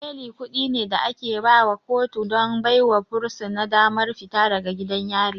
Beli kuɗi ne da ake baiwa kotu don baiwa fursuna damar fita daga gidan yari.